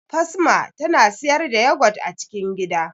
Fasma tana siyar da yogurt a cikin gida